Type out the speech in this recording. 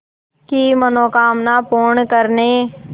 की मनोकामना पूर्ण करने